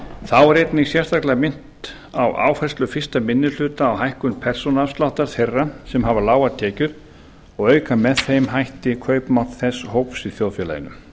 þá er einnig sérstaklega minnt á áherslur fyrsti minni hluta á hækkun persónuafsláttar þeirra sem hafa lágar tekjur og auka með þeim hætti kaupmátt þess hóps í þjóðfélaginu